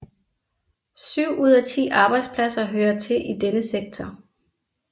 Syv ud af ti arbejdspladser hører til i denne sektor